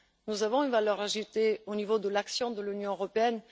Nous avons une valeur ajoutée au niveau de l'action de l'Union européenne.